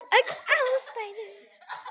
Við höfðum öll ástæðu.